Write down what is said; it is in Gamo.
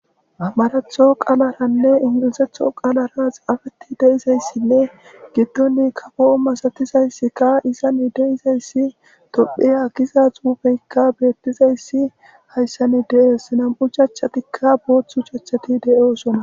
Maratho qaalaranne ingilizetho qaalaras afeti deizayssinne giddoni kapo7o masatizayssikka izani deizayssi topheya giza xuubeykka beettizayssi hayssanni deees nam7u chachchatikka booththu chachchati de7oosona.